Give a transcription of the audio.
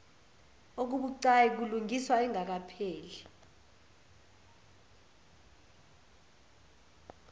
okubucayi kulungiswa engakapheli